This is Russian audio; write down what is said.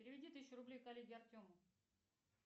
переведи тысячу рублей коллеге артему